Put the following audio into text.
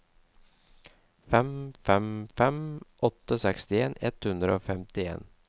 fem fem fem åtte sekstien ett hundre og femtien